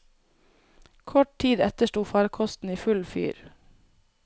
Kort tid etter sto farkosten i full fyr.